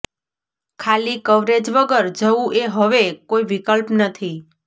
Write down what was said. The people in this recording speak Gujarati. ખાલી કવરેજ વગર જવું એ હવે કોઈ વિકલ્પ નથી